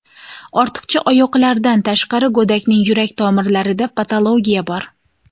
Ortiqcha oyoqlardan tashqari, go‘dakning yurak tomirlarida patologiya bor.